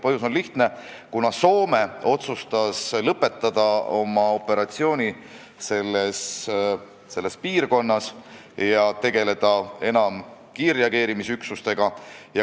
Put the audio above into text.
Põhjus on lihtne: Soome otsustas lõpetada oma missiooni selles piirkonnas ja tegeleda enam kiirreageerimisüksustega.